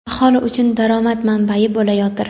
aholi uchun daromad manbai bo‘layotir.